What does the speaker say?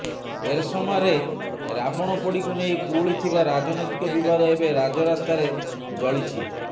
ଏରସମାରେ ରାବଣ ପୋଡିକୁ ନେଇ କୁହୁଳିଥିବା ରାଜନୈତିକ ବିବାଦ ଏବେ ରାଜରାସ୍ତାରେ ଜଳିଛି